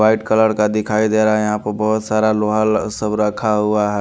White colour का दिखाई दे रहा है यहाँ प बहोत सारा लोहा ल सब रखा हुआ है।